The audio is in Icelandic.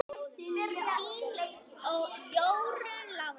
Þín Jórunn Lára.